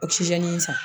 O san